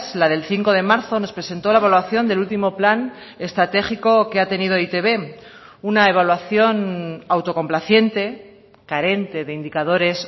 la del cinco de marzo nos presentó la evaluación del último plan estratégico que ha tenido e i te be una evaluación autocomplaciente carente de indicadores